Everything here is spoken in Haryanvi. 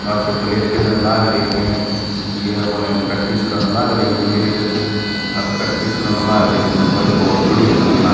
आछे प्लेयर खेलण लाग रे हंये अपणह प्रैक्टिस करण लाग रें हं प्लेयर अर प्रैक्टिस करण लाग रें हं तो भई ब्होत बढ़िया लागण लाग रे हं।